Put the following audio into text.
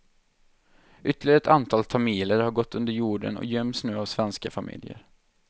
Ytterligare ett antal tamiler har gått under jorden och göms nu av svenska familjer.